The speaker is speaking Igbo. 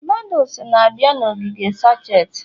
noodles na-abịa na ogige sacheti